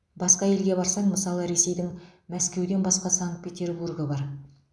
басқа елге барсаң мысалы ресейдің мәскеуден басқа санкт петербургы бар